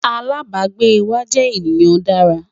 alábágbé wà jé ènìyàn Dára